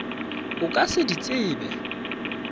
o ka se di tsebe